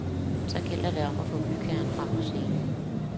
Så det gælder om at få bygherren frem på scenen.